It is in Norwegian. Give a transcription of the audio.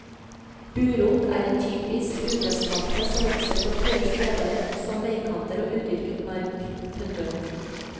Burot er en typisk ugressplante som vokser på tørre steder som veikanter og udyrket mark. punktum